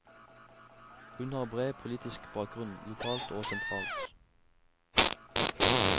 Hun har bred politisk bakgrunn, lokalt og sentralt.